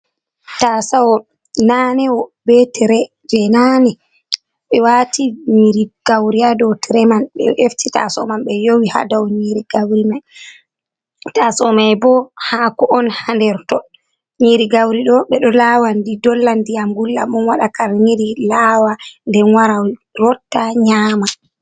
Taasou nanewo, be tire jei naane be waati nyiri gauri ha dou tire man, ɓe efti taasou man be yowi ha dou, taasou mai bo haako on ha nder to nyiri gauri ɗo ɓe ɗo laawa ndi dolla ndiyam gulɗam on waɗa karniri lawa den wara rotta nyama.